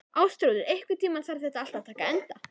Ástþrúður, einhvern tímann þarf allt að taka enda.